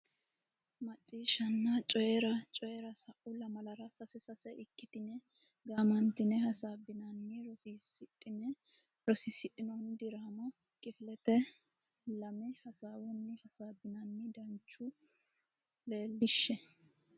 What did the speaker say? Macciishshanna Coyi ra Coyi ra Sa u lamalara sase sase ikkitine gaamantine hasaabbinanni rosiisidhini diraama kifilete lami hasaawunni hasaabbinanni danchu leellishshe.